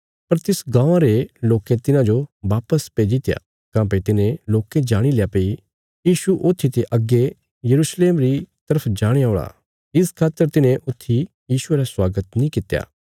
पर तिस गाँवां रे लोकें तिन्हाजो वापस भेजित्या काँह्भई तिन्हे लोकें जाणील्या भई यीशु ऊत्थी ते अग्गे यरूशलेम री तरफ जाणे औल़ा इस खातर तिन्हे ऊत्थी यीशुये रा स्वागत नीं कित्या